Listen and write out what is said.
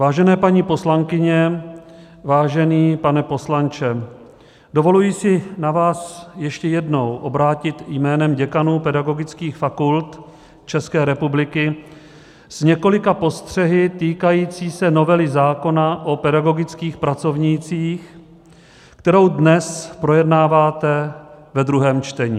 Vážená paní poslankyně, vážený pane poslanče, dovoluji si na vás ještě jednou obrátit jménem děkanů pedagogických fakult České republiky s několika postřehy týkajícími se novely zákona o pedagogických pracovnících, kterou dnes projednáváte ve druhém čtení.